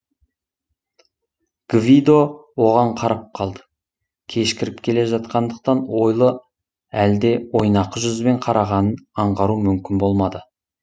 гвидо оған қарап қалды кешкіріп келе жатқандықтан ойлы әлде ойнақы жүзбен қарағанын аңғару мүмкін болмады